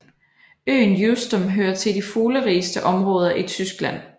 Øen Usedom hører til de fuglerigeste områder i Tyskland